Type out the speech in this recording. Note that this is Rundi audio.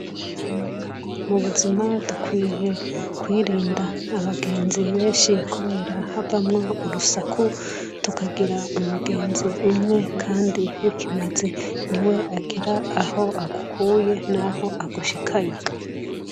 mu buzima dukwiye kwirinda abagenzi benshi kubera havamwo urusaku tukagira umugenzi umwe kandi w'ikimazi ni we agira aho agukuye n'aho agushyikanye